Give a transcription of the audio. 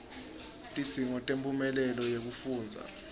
tidzingo temphumela wekufundza